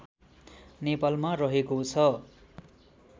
नेपालमा रहेको छ